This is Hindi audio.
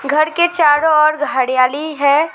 घर के चारों ओर हरियाली है।